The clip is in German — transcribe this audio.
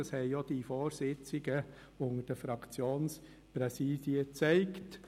Das haben auch die Vorbesprechungen unter den Fraktionspräsidien gezeigt.